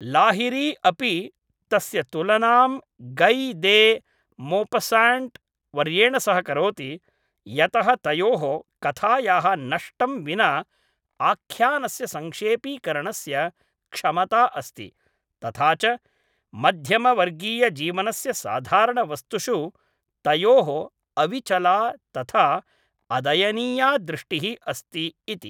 लाहिरी अपि तस्य तुलनां गै दे मोपस्साण्ट् वर्येण सह करोति, यतः तयोः, कथायाः नष्टं विना आख्यानस्य संक्षेपीकरणस्य क्षमता अस्ति, तथा च मध्यमवर्गीयजीवनस्य साधारणवस्तुषु तयोः अविचला तथा अदयनीया दृष्टिः अस्ति इति।